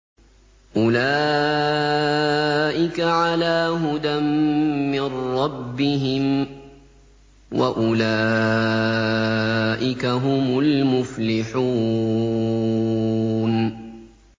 أُولَٰئِكَ عَلَىٰ هُدًى مِّن رَّبِّهِمْ ۖ وَأُولَٰئِكَ هُمُ الْمُفْلِحُونَ